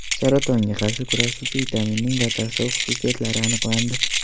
Saratonga qarshi kurashuvchi vitaminning batafsil xususiyatlari aniqlandi.